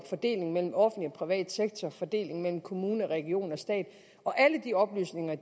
fordelingen mellem offentlig og privat sektor fordelingen mellem kommune region og stat og alle de oplysninger